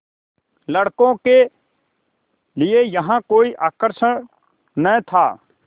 लड़कों के लिए यहाँ कोई आकर्षण न था